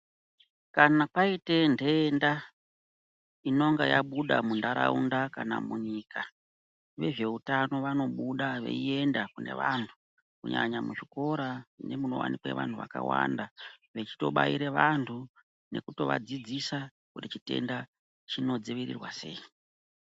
Kana paite nhenda inonga yabuda munharaunda kana munyika vezveutano vanobuda veienda kune vanhu kunyanya muzvikora nemunowanikwe vanhu vakawanda vechitobaire vanhu nekuvadzidzisa kuti chitenda chinodzivirirwa sei.